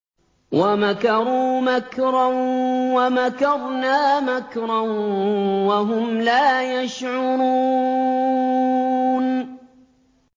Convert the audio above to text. وَمَكَرُوا مَكْرًا وَمَكَرْنَا مَكْرًا وَهُمْ لَا يَشْعُرُونَ